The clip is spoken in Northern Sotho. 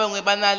ba bangwe ba na le